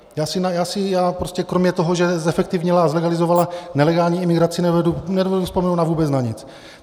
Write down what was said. Já si kromě toho, že zefektivnila a zlegalizovala nelegální imigraci, nedovedu vzpomenout vůbec na nic.